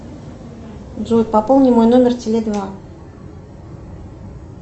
джой пополни мой номер теле два